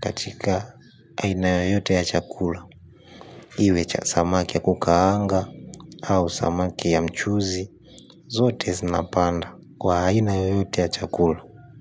katika aina yoyote ya chakula iwe cha samaki ya kukaanga au samaki ya mchuzi. Zote zinapanda kwa aina yoyote ya chakula.